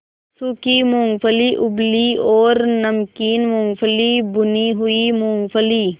सूखी मूँगफली उबली और नमकीन मूँगफली भुनी हुई मूँगफली